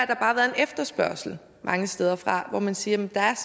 der bare været en efterspørgsel mange steder fra hvor man siger at der